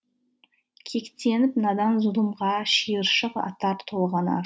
кектеніп надан зұлымға шиыршық атар толғанар